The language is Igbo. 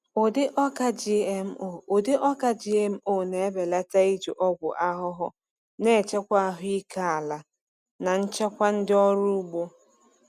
Ụdị ọka GMO Ụdị ọka GMO na-ebelata iji ọgwụ ahụhụ, na-echekwa ahụike ala na nchekwa ndị ọrụ ugbo.